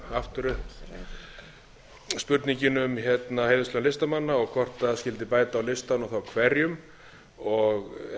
aftur upp spurningin um heiðurslaun listamanna og hvort skyldi bæta á listann og þá hverjum eðlilega eins og